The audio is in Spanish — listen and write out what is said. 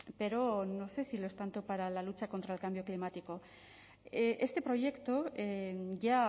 pero no sé si lo es tanto para la lucha contra el cambio climático este proyecto ya